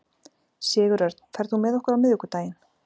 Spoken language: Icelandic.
Sigurörn, ferð þú með okkur á miðvikudaginn?